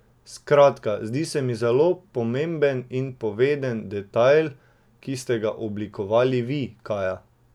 Skratka, zdi se mi zelo pomemben in poveden detajl, ki ste ga oblikovali vi, Kaja.